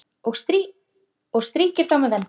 og strýkir þá með vendi.